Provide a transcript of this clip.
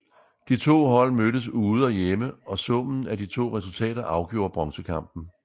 De to hold mødtes ude og hjemme og summen af de to resultater afgjorde bronzekampen